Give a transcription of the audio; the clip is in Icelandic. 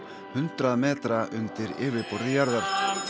hundrað metra undir yfirborði jarðar